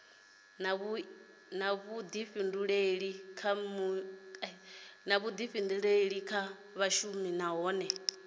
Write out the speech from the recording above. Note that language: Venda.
na vhuḓifhinduleli kha vhashumi nahone